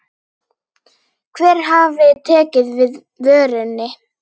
Hver hafi tekið við vörunni?